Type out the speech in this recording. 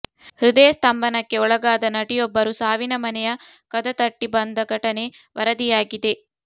ಹೃದಯ ಸ್ತಂಭನಕ್ಕೆ ಒಳಗಾದ ನಟಿಯೊಬ್ಬರು ಸಾವಿನ ಮನೆಯ ಕದ ತಟ್ಟಿ ಬಂದ ಘಟನೆ ವರದಿಯಾಗಿದೆ